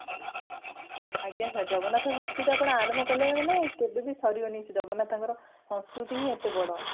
ଆଜ୍ଞା sir ଜଗନ୍ନାଥ ସସ୍କୃତି ଆପଣ ଆରମ୍ଭ କଲେ କେବେ ବି ସାରିବାକୁ ଜଗନ୍ନାଥଙ୍କର ସସ୍କୃତି ହିଁ ଏତେ ବଡ